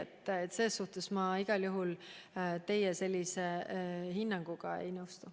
Nii et selles suhtes ma igal juhul teie hinnanguga ei nõustu.